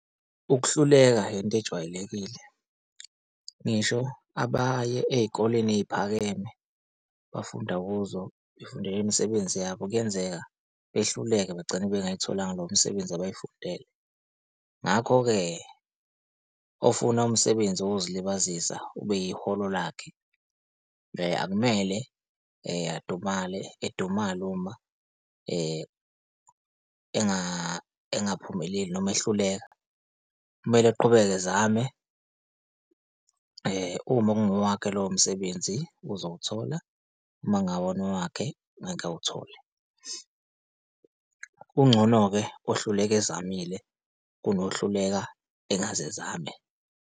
Ukuhluleka yinto ejwayelekile. Ngisho abaye ey'koleni ey'phakeme, bafunda kuzo befundela imisebenzi yabo, kuyenzeka behluleke bagcine bengayitholanga lowo msebenzi abawufundele. Ngakho-ke ofuna umsebenzi wokuzilibazisa ube iholo lakhe akumele adumale, edumile uma engaphumeleli noma ehluleka. Kumele eqhubeke ezame uma kungowakhe lowo msebenzi uzowuthola, uma kungawona owakhe angeke awuthole. Kungcono-ke ohluleka ezamile kunohluleka engakaze ezame.